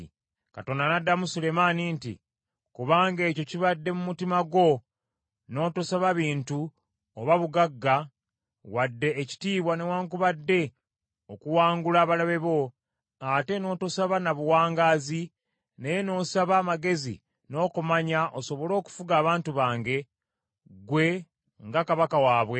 Katonda n’addamu Sulemaani nti, “Kubanga ekyo kibadde mu mutima gwo, n’otosaba bintu, oba obugagga, wadde ekitiibwa newaakubadde okuwangula abalabe bo, ate n’otosaba na buwangaazi, naye n’osaba amagezi n’okumanya osobole okufuga abantu bange, ggwe, nga kabaka waabwe,